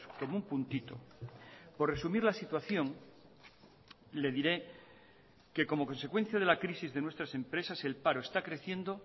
como un puntito por resumir la situación le diré que como consecuencia de la crisis de nuestras empresas el paro está creciendo